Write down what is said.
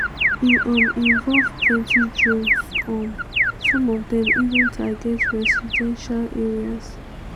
e um involve plenty drones um some of dem even target residential areas.